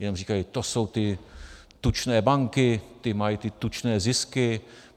Jen říkají: To jsou ty tučné banky, ty mají ty tučné zisky.